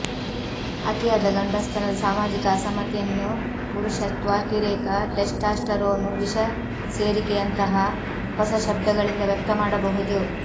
ಅತಿಯಾದ ಗಂಡಸುತನದ ಸಾಮಾಜಿಕ ಅಸಮ್ಮತಿಯನ್ನು ಪುರುಷತ್ವಾತಿರೇಕ ಟೆಸ್ಟಾಸ್ಟರೋನ್ ವಿಷಸೇರಿಕೆಯಂತಹ ಹೊಸ ಶಬ್ದಗಳಿಂದ ವ್ಯಕ್ತಮಾಡಬಹುದು